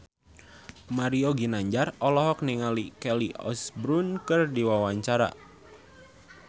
Mario Ginanjar olohok ningali Kelly Osbourne keur diwawancara